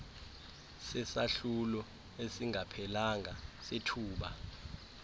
sesahlulo esingaphelanga sethuba